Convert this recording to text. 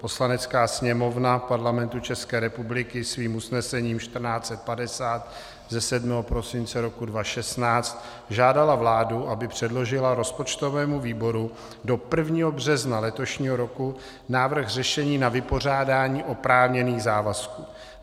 Poslanecká sněmovna Parlamentu České republiky svým usnesením 1450 ze 7. prosince roku 2016 žádala vládu, aby předložila rozpočtovému výboru do 1. března letošního roku návrh řešení na vypořádání oprávněných závazků.